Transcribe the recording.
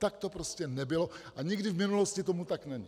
Tak to prostě nebylo a nikdy v minulosti tomu tak nebylo.